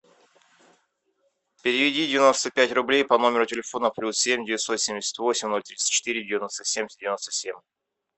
переведи девяносто пять рублей по номеру телефона плюс семь девятьсот семьдесят восемь ноль тридцать четыре девяносто семь девяносто семь